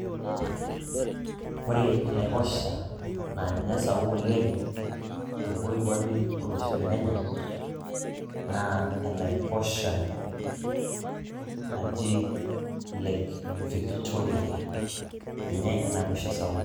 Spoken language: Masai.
ore enaiposha naa ninye esapuk oleng te moikwape olosho le Kenya naa enaiposha naji lake Victoria ninye enaiposha sapuk